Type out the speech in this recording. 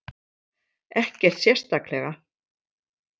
Ekkert sérstaklega.